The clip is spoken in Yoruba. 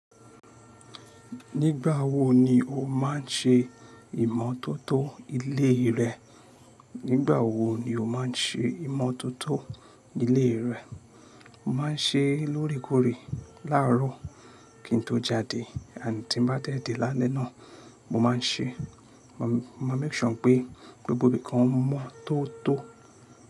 Nígbà wo ni o máà ń ṣe ìmọ̀tótó ilé rẹ? Nígbà wo ni o máà ń ṣe ìmọ̀tótó ilé rẹ? Mo máa ń ṣe lóorekoore láàárọ̀ kí n tó jáde àní tí ń bá tẹ́ dé lálẹ́ náà mo máa ń ṣe. Mo máa ń make sure pé gbogbo ibìkan mọ́tótó.